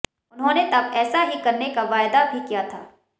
उन्होंने तब ऐसा ही करने का वायदा भी किया था